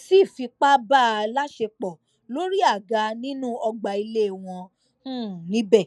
sì fipá bá a láṣepọ lórí àga nínú ọgbà ilé wọn um níbẹ